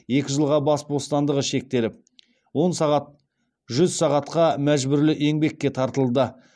екі жылға бас бостандығы шектеліп жүз сағатқа мәжбүрлі еңбекке тартылды